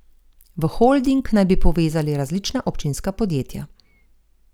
V holding naj bi povezali različna občinska podjetja.